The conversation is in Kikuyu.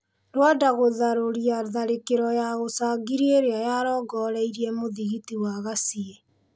Rwanda gũtharũria tharĩkĩro ya ũcangiri irĩa yarongoreirie mũthigiti wa Gaciĩ.